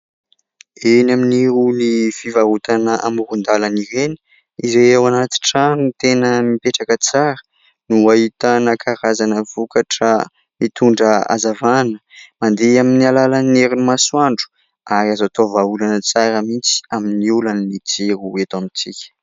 Eny amin'irony fivarotana amoron-dàlana ireny izay ao anaty trano tena mipetraka tsara no ahitana karazana vokatra mitondra hazavana, mandeha amin'ny alalan'ny herin'ny masoandro, ary azo atao vahaolana tsara mihitsy amin'ny olan'ny jiro eto amintsika.